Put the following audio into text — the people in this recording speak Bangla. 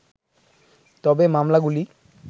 তবে মামলাগুলি